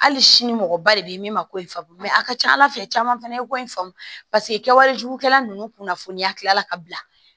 Hali sini mɔgɔba de bɛ ye min ma ko faamuya mɛ a ka ca ala fɛ caman fana ye ko in faamu paseke kɛwale jugukɛla ninnu kunnafoniya tilala ka bila